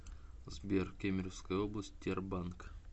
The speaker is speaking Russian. сбер кемеровская область тербанк